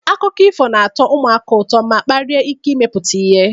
Akụkọ ifo na-atọ ụmụaka ụtọ ma kpalie ike imepụta ihe.